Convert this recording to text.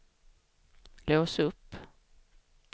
lås upp